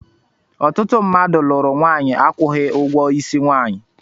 Ọtụtụ mmadụ lụrụ nwanyi akwughi ụgwọ isi nwanyị.